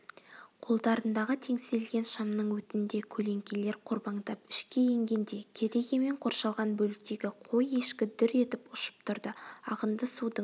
қолдарындағы теңселген шамның өтінде көлеңкелер қорбаңдап ішке енгенде керегемен қоршалған бөліктегі қой-ешкі дүр етіп ұшып тұрды ағынды судың